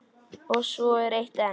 Og svo er eitt enn.